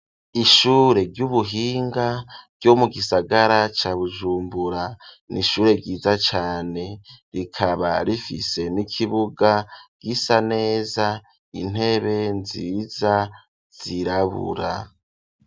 Ishure ry'ubuhinga ryo mu gisagara ca Bujumbura ,n'ishure ryiza cane rikaba rifise n'ikibuga gisa neza, intebe nziza zirabura.